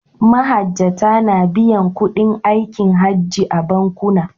Mahajjata na biyan kuɗin aikin Hajji a bankuna.